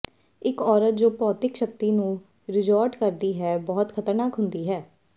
ਇੱਕ ਔਰਤ ਜੋ ਭੌਤਿਕ ਸ਼ਕਤੀ ਨੂੰ ਰਿਜੌਰਟ ਕਰਦੀ ਹੈ ਬਹੁਤ ਖਤਰਨਾਕ ਹੁੰਦੀ ਹੈ